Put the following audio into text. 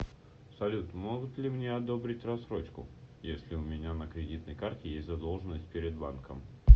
салют могут ли мне одобрить рассрочкуесли у меня на кредитной карте есть задолженность перед банком